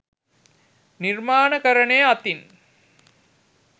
නිර්මාණකරණය අතින්